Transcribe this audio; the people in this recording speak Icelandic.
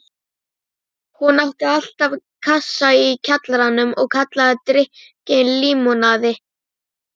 Hann var ekkjumaður og Bára var einkabarnið hans.